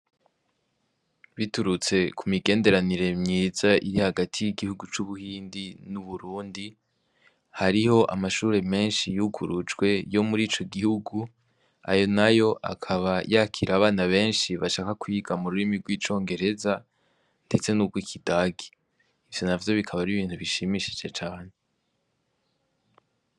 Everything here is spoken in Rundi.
Biturutse ku migenderanire myiza iri hagati y'igihugu c'ubuhindi n'uburundi hariho amashure menshi yugurujwe yo muri ico gihugu ayo na yo akaba yakira abana benshi bashaka kwyiga mu rurimi rw'icongereza, ndetse n'ubwo ikidagi ivyo na vyo bikaba bri ibintu bishimishije coahantu.